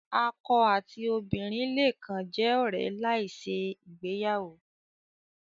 Akọ ati obinrin le kan jẹ ọrẹ lai ṣe igbeyawo